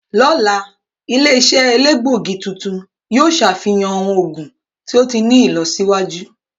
Ọla, ile-iṣẹ elegbogi tuntun yoo ṣafihan awọn oogun to ti ni ilọsiwaju.